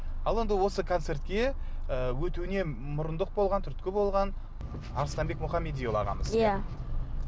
ал енді осы концертке ы өтуіне мұрындық болған түрткі болған арыстанбек мұхамедиұлы ағамыз иә